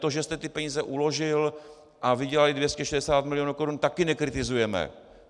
To, že jste ty peníze uložil a vydělaly 260 milionů korun, taky nekritizujeme.